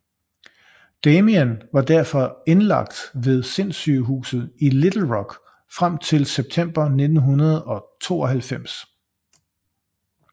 Damien var derfor indlagt ved sindssygehuset i Little Rock frem til september 1992